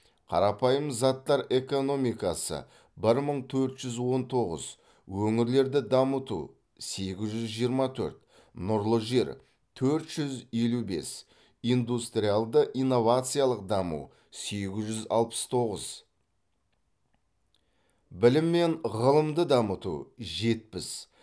қарапайым заттар экономикасы бір мың төрт жүз он тоғыз өңірлерді дамыту сегіз жүз жиырма төрт нұрлы жер төрт жүз елу бес индустриялды инновациялық даму сегіз жүз алпыс тоғыз білім мен ғылымды дамыту жетпіс